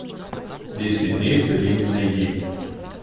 десять дней в долине найди